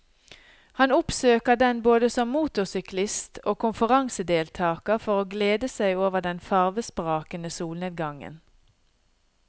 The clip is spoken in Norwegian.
Han oppsøker den både som motorsyklist og konferansedeltager for å glede seg over den farvesprakende solnedgangen.